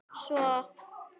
Svo má lengi telja.